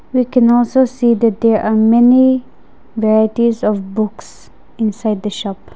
we can also see that there are many varieties of books inside the shop.